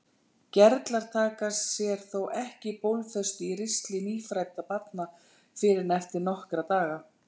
Gerlar taka sér þó ekki bólfestu í ristli nýfæddra barna fyrr en eftir nokkra daga.